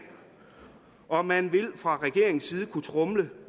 og man vil fra regeringens side kunne tromle